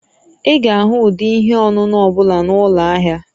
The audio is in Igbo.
Ị ga-ahụ ụdị ihe ọṅụṅụ ọ bụla na ụlọ ahịa